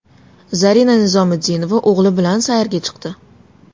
Zarina Nizomiddinova o‘g‘li bilan sayrga chiqdi.